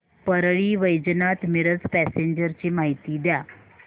Parli Vaijnath Miraj passenger ची माहिती द्या